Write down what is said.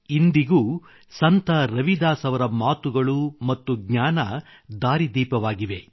ಇಂದಿಗೂ ಸಂತ ರವಿದಾಸ್ ಅವರ ಮಾತುಗಳು ಮತ್ತು ಜ್ಞಾನ ದಾರಿದೀಪವಾಗಿವೆ